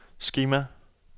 skema